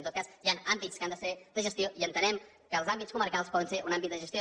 en tot cas hi ha àmbits que han de ser de gestió i entenem que els àmbits comarcals poden ser un àmbit de gestió